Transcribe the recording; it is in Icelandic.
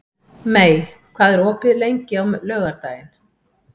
Mey, hvað er opið lengi á laugardaginn?